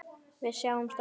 Við sjáumst á ný.